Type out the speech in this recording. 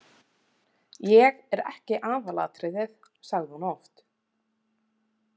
Ég er ekki aðalatriðið, sagði hún oft.